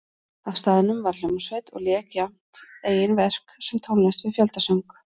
Á staðnum var hljómsveit og lék jafnt eigin verk sem tónlist við fjöldasöng.